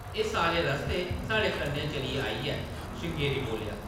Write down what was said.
“एह्‌‌ सारे रस्तै साढ़े कन्नै चलियै आई ऐ ”, श्रृंगेरी बोल्लेआ ।